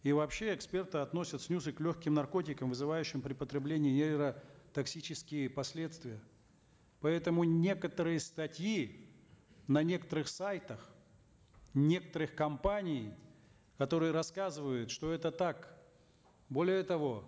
и вообще эксперты относят снюсы к легким наркотикам вызывающим при потреблении нейротоксические последствия поэтому некоторые статьи на некоторых сайтах некоторых компаний которые рассказывают что это так более того